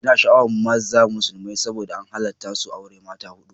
Ina sha'awar maza musulmi saboda an halatta su auren mata hudu